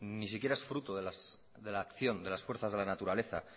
ni siquiera es fruto de la acción de las fuerzas de la naturaleza